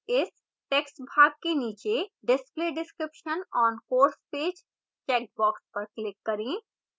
इस टैक्स्ट भाग के नीचे display description on course page checkbox पर click करें